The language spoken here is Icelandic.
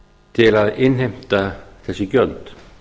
til að innheimta þessi gjöld